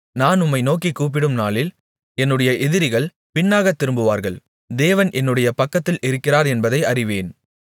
நான் உம்மை நோக்கிக் கூப்பிடும் நாளில் என்னுடைய எதிரிகள் பின்னாக திரும்புவார்கள் தேவன் என்னுடைய பக்கத்தில் இருக்கிறார் என்பதை அறிவேன்